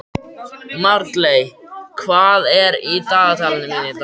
Marley, hvað er í dagatalinu mínu í dag?